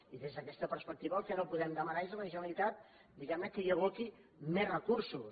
i des d’aquesta perspectiva el que no podem demanar és a la generalitat diguem ne que hi aboqui més recursos